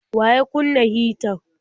Wa ya kunna hitar?